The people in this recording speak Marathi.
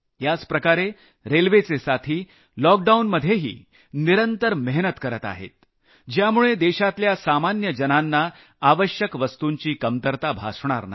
याच प्रकारे रेल्वेचे साथी लॉकडाऊनमध्येही निरंतर मेहनत करत आहेत ज्यामुळे देशातल्या सामान्यजनांना अत्यावश्यक वस्तुंची कमतरता भासणार नाही